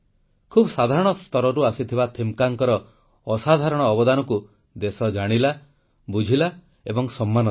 ଖୁବ୍ ସାଧାରଣ ସ୍ତରରୁ ଆସିଥିବା ଥିମକ୍କାଙ୍କର ଅସାଧାରଣ ଅବଦାନକୁ ଦେଶ ଜାଣିଲା ବୁଝିଲା ଏବଂ ସମ୍ମାନ ଦେଲା